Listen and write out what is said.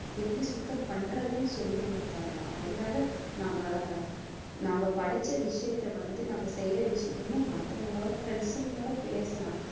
எப்படி சுத்தம் பண்றதுன்னு சொல்லி கொடுத்தரலாம் அது இல்லாத நம்ம நாம படிச்ச விஷயத்த வந்து நம்ம செய்யற விஷயத்த வந்து, மத்தவங்களோட friends ங்களோட பேசலாம்.